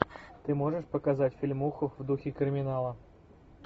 ты можешь показать фильмуху в духе криминала